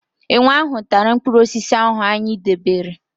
Enwe ahụ tara mpkụrụosisi ahụ anyị debere.